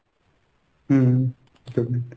Hmm good night.